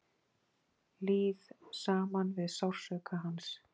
Líð saman við sársauka hans.